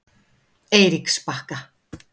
Eiríksbakka